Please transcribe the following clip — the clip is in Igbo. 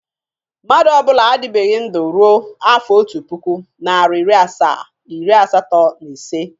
Mmadụ ọ bụla adịbegi ndu ruo afọ otu pụkụ, nari iri asaa, iri asatọ na ise.